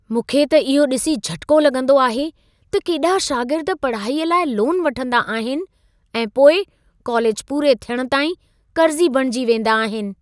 मूंखे त इहो ॾिसी झटिको लॻंदो आहे त केॾा शागिर्द पढ़ाईअ लाइ लोन वठंदा आहिनि ऐं पोइ कोलेज पूरे थियण ताईं कर्ज़ी बणिजी वेंदा आहिनि।